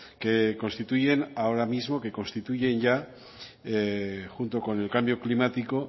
que constituyen ahora mismo que constituyen ya junto con el cambio climático